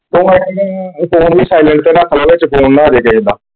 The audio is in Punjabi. ਤੂੰ ਐਕਚੁਲੀ ਫੋਨ ਵੀ ਸਾਈਲੈਂਟ ਤੇ ਰੱਖ ਲੈ ਵਿਚ ਫੋਨ ਨਾ ਆ ਜਏ ਕਿਸੇ ਦਾ।